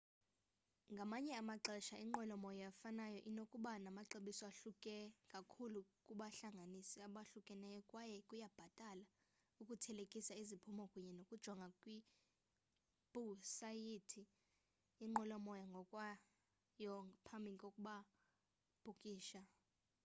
ngamanye amaxesha inqwelomoya efanayo inokuba namaxabiso ahluke kakhulu kubahlanganisi abahlukeneyo kwaye kuyabhatala ukuthelekisa iziphumo kunye nokujonga kwiwebhusayithi yenqwelomoya ngokwayo ngaphambi kokubhukisha